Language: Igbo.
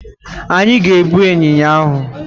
Anyi ga egbu ịnyịnya ahụ.